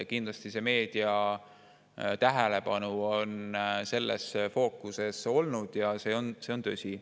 Kindlasti on meedia tähelepanu selles fookuses olnud, see on tõsi.